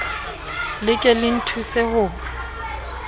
le ke le nthuse ho